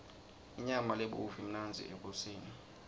inyama lebovu imnandzi ekoseni